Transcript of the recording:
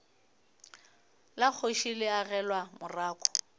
la kgoši le agelwa morako